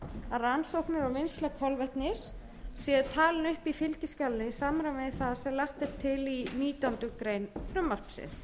að rannsóknir og vinnsla kolvetnis séu talin upp í fylgiskjalinu í samræmi við það sem lagt er til í nítjánda grein frumvarpsins